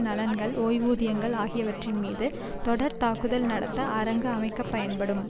நலன்கள் ஓய்வூதியங்கள் ஆகியவற்றின்மீது தொடர்தாக்குதல் நடத்த அரங்கு அமைக்க பயன்படும்